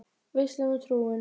Veislan og trúin